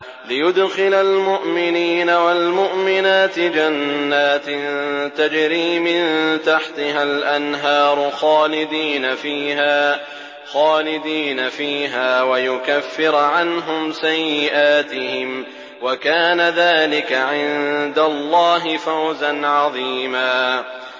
لِّيُدْخِلَ الْمُؤْمِنِينَ وَالْمُؤْمِنَاتِ جَنَّاتٍ تَجْرِي مِن تَحْتِهَا الْأَنْهَارُ خَالِدِينَ فِيهَا وَيُكَفِّرَ عَنْهُمْ سَيِّئَاتِهِمْ ۚ وَكَانَ ذَٰلِكَ عِندَ اللَّهِ فَوْزًا عَظِيمًا